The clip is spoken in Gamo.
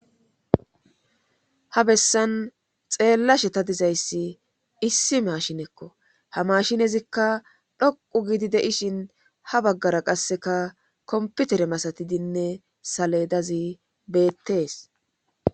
ha bessan xeellashe ta dizayssi issi mashinekko ha mashinezikka dhoqu gidi de ishin ha baggara qasseka komputere masatidinne saledazi beettees